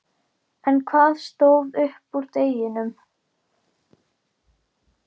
En hvað stóð upp úr deginum?